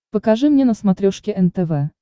покажи мне на смотрешке нтв